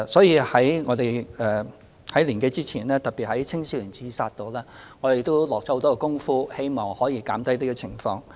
就此，在年多之前，我們特別就防止青少年自殺下了不少工夫，希望可減少有關情況。